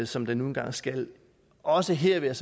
som der nu engang skal til også her vil